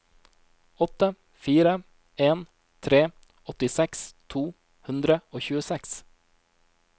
åtte fire en tre åttiseks to hundre og tjueseks